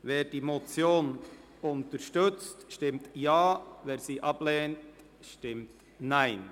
Wer die Motion unterstützt, stimmt Ja, wer sie ablehnt, stimmt Nein.